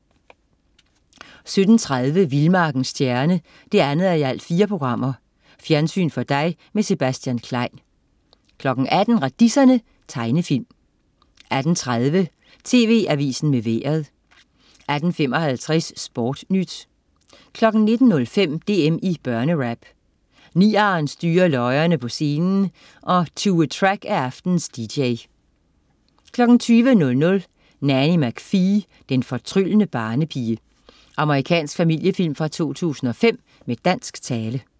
17.30 Vildmarkens Stjerne 2:4. Fjernsyn for dig med Sebastian Klein 18.00 Radiserne. Tegnefilm 18.30 TV Avisen med Vejret 18.55 SportNyt 19.05 DM i børnerap. Niarn styrer løjerne på scenen og Tue Track er aftenens DJ 20.00 Nanny Mcphee, den fortryllende barnepige. Amerikansk familiefilm fra 2005 med dansk tale